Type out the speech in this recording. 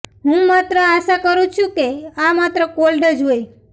હું માત્ર આશા કરું છું કે આ માત્ર કોલ્ડ જ હોય